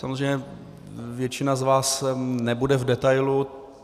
Samozřejmě většina z vás nebude v detailu.